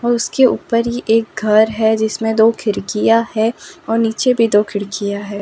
और उसके ऊपर ही एक घर है जिसमें दो खिड़किया है और नीचे भी दो खिड़कियां हैं।